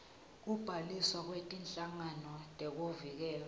kubhaliswa kwetinhlangano tekuvikela